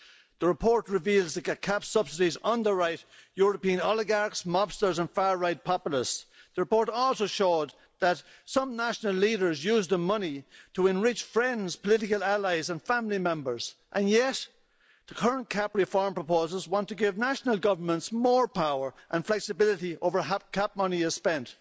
The report reveals that CAP subsidies underwrite European oligarchs, mobsters and far right populists. The report also showed that some national leaders used the money to enrich friends, political allies and family members, and yet the current CAP reform proposals want to give national governments more power and flexibility over how CAP money is spent.